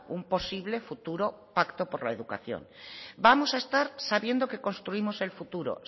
un posible futuro pacto por la educación vamos a estar sabiendo que construimos el futuro